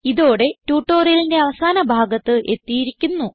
ഇതോടെ ട്യൂട്ടോറിയലിന്റെ അവസാന ഭാഗത്ത് എത്തിയിരിക്കുന്നു